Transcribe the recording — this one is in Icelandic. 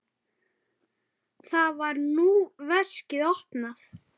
Þar var nú veskið opnað.